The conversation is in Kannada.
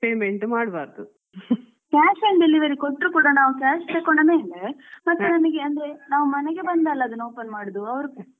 Cash and delivery ಕೊಟ್ರು ಕೂಡ ನಾವ್ cash ತಕೊಂಡ ಮತ್ತೆ ನಮಿಗೆ ಅಂದ್ರೆ ಮೇಲೆ ನಾವ್ ಮನೆಗೆ ಬಂದೆ ಅಲ್ಲ ಅದನ್ನ open ಮಾಡುದು.